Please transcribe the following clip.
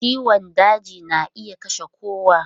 Ciwon daji na iya kashe kowa.